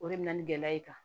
O de bɛ na ni gɛlɛya ye tan